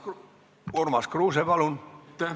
Urmas Kruuse, palun!